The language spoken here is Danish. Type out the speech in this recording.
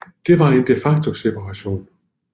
Det var en de facto separation